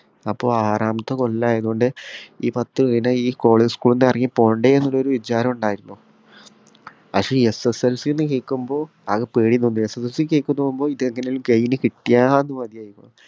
അപ്പൊ ആറാമത്തെ കൊല്ലായതു കൊണ്ട് ഈ പത്ത്‌ പിന്നെ ഈ കോളേ school ന്ന് ഇറങ്ങി പോണ്ടെന്ന് ഉള്ളരു വിചാരം ഇണ്ടായിരുന്നു പക്ഷെ ഈ SSLC ന്ന് കേക്കുമ്പോ ആകെ പേടിണ്ടായി ഈ SSLC ന്ന് കേക്കുമ്പോ ഇതെങ്ങനേലും കയിഞ്ഞു കിട്ടിയാ മതിയാഞ്ഞു